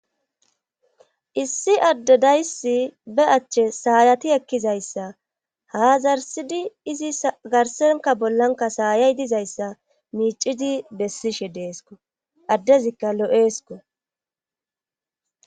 issi adde dayssi be achche saayati ekkizayssa haazarsidi izi garsenka bollanka saayay dizayssa miicidi bessishe deesko addezikka lo7eesko